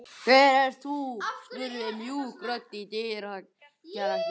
Hver ert þú? spurði mjúk rödd í dyragættinni.